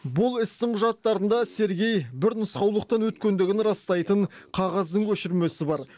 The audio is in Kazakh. бұл істің құжаттарында сергей бір нұсқаулықтан өткендігін растайтын қағаздың көшірмесі бар